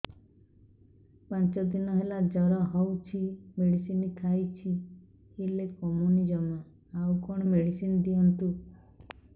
ପାଞ୍ଚ ଦିନ ହେଲା ଜର ହଉଛି ମେଡିସିନ ଖାଇଛି ହେଲେ କମୁନି ଜମା ଆଉ କଣ ମେଡ଼ିସିନ ଦିଅନ୍ତୁ